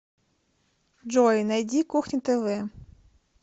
джой найди кухня тв